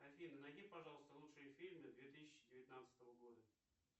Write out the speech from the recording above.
афина найди пожалуйста лучшие фильмы две тысячи девятнадцатого года